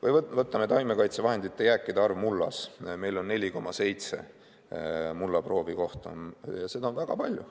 Või võtame taimekaitsevahendite jääkide arvu mullas – meil on 4,7 mullaproovi kohta, ja seda on väga palju.